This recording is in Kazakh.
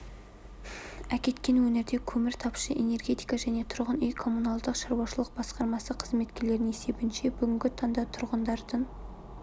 әкеткен өңірде көмір тапшы энергетика және тұрғын үй-коммуналдық шаруашылық басқармасы қызметкерлерінің есебінше бүгінгі таңда тұрғындардың